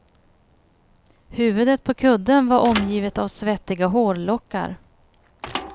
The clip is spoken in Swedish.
Huvudet på kudden var omgivet av svettiga hårlockar.